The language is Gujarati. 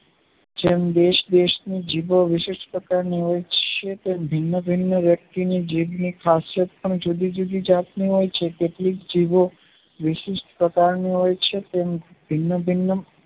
જેમ દેશ દેશ ની જીભે વિશેસ પ્રકારની હોય છેતેમ ભિન્ન ભિન્ન વસ્તીને જીભની ખાસિયત પણ જુદી જુદી હોય છે જીભો વિશિષ્ઠ પ્રકારની હોય છે ભિન્ન ભિન્ન